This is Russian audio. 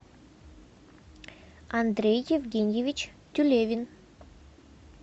андрей евгеньевич тюлевин